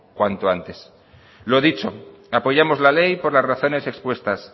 cuanto antes lo dicho apoyamos la ley por las razones expuestas